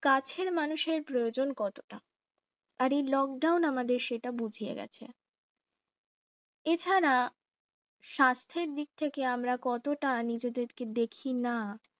কাছের মানুষের প্রয়োজন কতটা আরে lockdown আমাদের সেটা বুঝিয়ে গেছে এছাড়া স্বাস্থ্যের দিক থেকে আমরা কতটা নিজেদেরকে দেখিনা